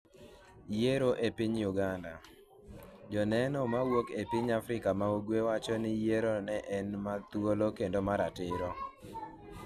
yiero e piny Uganda:joneno mowuok epiny Afrika ma ugwe wacho ni yiero ne en ma thuolo kendo maratiro